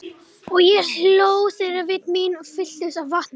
Og ég hló þegar vit mín fylltust af vatni.